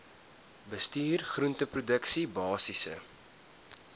bestuur groenteproduksie basiese